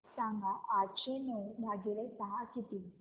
सांगा आठशे नऊ भागीले सहा किती